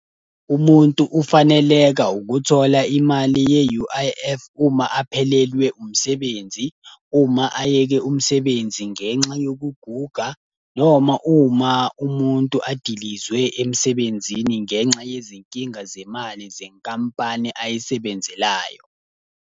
Umuntu ufaneleka ukuthola imali ye-U_I_F, uma aphelelwe umsebenzi, uma ayeke umsebenzi ngenxa yokuguga, noma uma umuntu adilizwe emsebenzini ngenxa yezinkinga zemali zenkampani ayisebenzelayo.